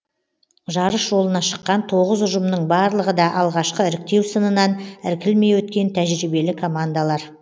жарыс жолына шыққан тоғыз ұжымның барлығы да алғашқы іріктеу сынынан іркілмей өткен тәжірибелі командалар